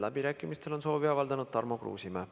Läbirääkimisteks on soovi avaldanud Tarmo Kruusimäe.